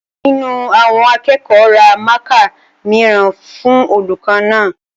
Ọ̀kan nínú àwọn akẹ́kọ̀ọ́ ra mákà mìíràn fún olùkọ́ náà